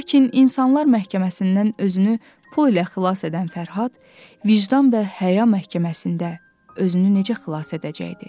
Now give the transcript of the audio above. Lakin İnsanlar məhkəməsindən özünü pul ilə xilas edən Fərhad, vicdan və həya məhkəməsində özünü necə xilas edəcəkdi?